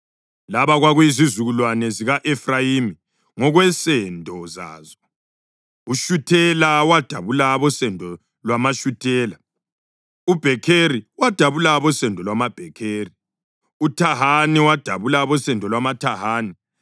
Laba kwakuyizizukulwane zika-Efrayimi ngokwensendo zazo: uShuthela wadabula abosendo lwamaShuthela; uBhekheri wadabula abosendo lwamaBhekheri; uThahani wadabula abosendo lwamaThahani.